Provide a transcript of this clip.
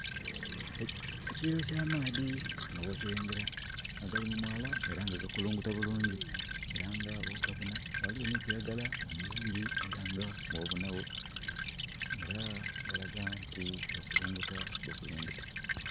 Ekiyiiro kya maadhi nga bwokilengera, nga gali mu mwaala ela nga gakulunguta bulungi. Era nga bwogabona ghaligho ni kiragala omulungi era nga bwobona gho. Era galaga nti gakulunguta bukulungute.